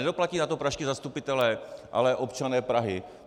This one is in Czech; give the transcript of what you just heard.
Nedoplatí na to pražští zastupitelé, ale občané Prahy.